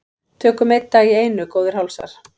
Tökum einn dag í einu góðir hálsar.